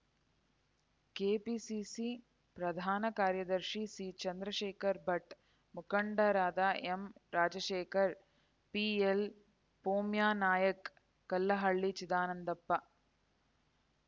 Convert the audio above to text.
KPCC ಪ್ರಕಾರ್ಯದರ್ಶಿ ಸಿಚಂದ್ರಶೇಖರ Bhat ಮುಖಂಡರಾದ ಎಂರಾಜಶೇಖರ PL ಪೋಮ್ಯನಾಯ್ಕ Kallahalli Chidanandappa